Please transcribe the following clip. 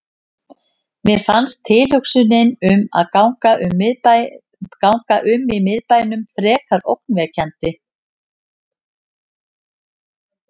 Mér fannst tilhugsunin um að ganga um í miðbænum fremur ógnvekjandi.